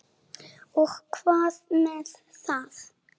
Og hvað með það!